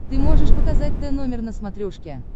ты можешь показать тномер на смотрешке